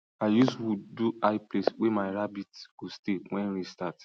i use wood do high place wey my rabbits go stay when rain start